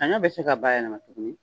sanɲɔ bɛ se ka bayɛlɛma tuguni.